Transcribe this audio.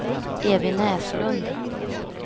Evy Näslund